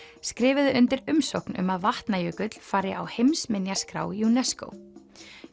skrifuðu undir umsókn um að Vatnajökull fari á heimsminjaskrá UNESCO